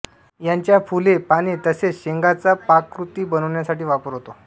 याच्या फुले पाने तसेच शेंगांचा पाककृती बनवण्यासाठी वापर होतो